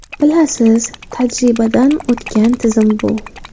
Bilasiz, tajribadan o‘tgan tizim bu.